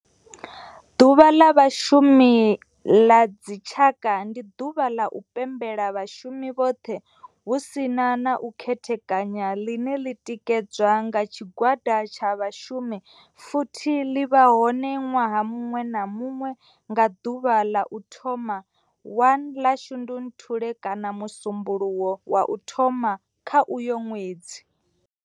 Ḓuvha ḽa Vhashumi ḽa dzi tshaka, ndi ḓuvha ḽa u pembela vhashumi vhothe hu si na u khethekanya ḽine ḽi tikedzwa nga tshigwada tsha vhashumi futhi ḽi vha hone ṅwaha muṅwe na muṅwe nga ḓuvha la u thoma 1 ḽa Shundunthule kana musumbulowo wa u thoma kha uyo ṅwedzi.